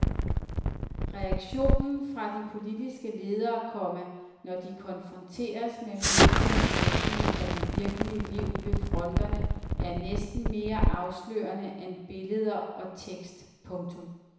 Reaktionen fra de politiske ledere, komma når de konfronteres med mediernes dækning af det virkelige liv ved fronterne er næsten mere afslørende end billeder og tekst. punktum